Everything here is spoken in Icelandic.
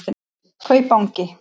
Kaupangi